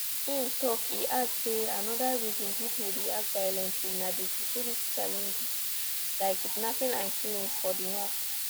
im tok e add say anoda reason pipo react violently na di security challenges like kidnappings and killings for di north